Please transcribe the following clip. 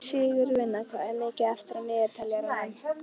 Sigurvina, hvað er mikið eftir af niðurteljaranum?